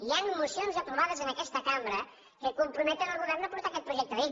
hi han mocions aprovades en aquesta cambra que comprometen el govern a portar aquest projecte de llei